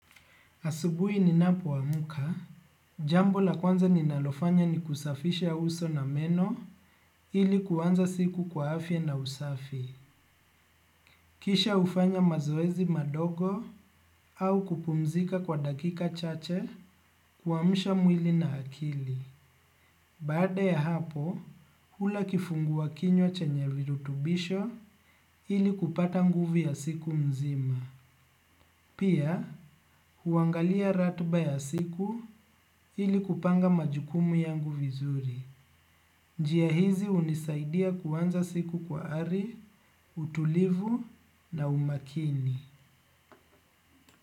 Asubuhi ninapk amka, jambo la kwanza ninalofanya ni kusafisha uso na meno ili kuanza siku kwa afya na usafi. Kisha hufanya mazoezi madogo au kupumzika kwa dakika chache kuamsha mwili na akili. Baada ya hapo, hula kifungua kinywa chenye virutubisho ili kupata nguvu ya siku mzima. Pia, huangalia ratiba ya siku ili kupanga majukumu yangu vizuri. Njia hizi hunisaidia kuanza siku kwa ari, utulivu na umakini.